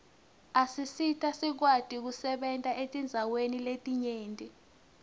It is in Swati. asisita sikwati kusebenta etindzaweni letinyenti